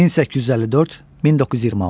1854-1926.